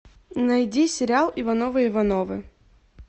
найди сериал ивановы ивановы